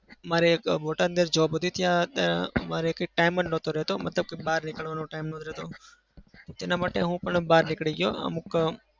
મારે એક બોટાદની અંદર job હતી. ત્યાં મારે time જ નાટો રહેતો. મતલબ બાર નીકળવાનો time નતો રહેતો એના માટે હું બહાર નીકળી ગયો અમુક